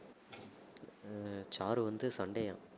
அஹ் sir வந்து சண்டையாம்